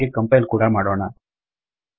ಹಾಗೇ ಕಂಪೈಲ್ ಕೂಡಾ ಮಾಡೋಣ